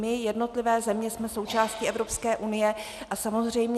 My, jednotlivé země, jsme součástí Evropské unie.